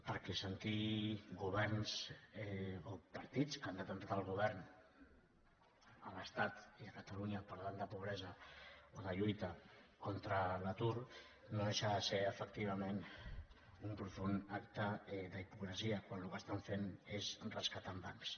perquè sentir governs o partits que han tingut el govern a l’estat i a catalunya parlant de pobresa o de lluita contra l’atur no deixa de ser efectivament un profund acte d’hipocresia quan el que estan fent és rescatar bancs